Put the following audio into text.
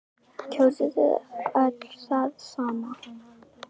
Linda: Kjósið þið öll það sama?